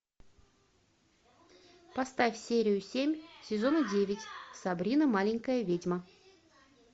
поставь серию семь сезона девять сабрина маленькая ведьма